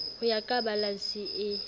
ho ya ka balanse e